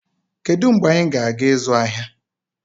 Kedu mgbe anyị ga-aga ịzụ ahịa?